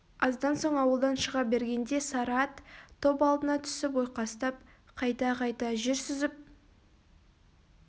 аздан соң ауылдан шыға бергенде сары ат топ алдына түсіп ойқастап қайта-қайта жер сүзіп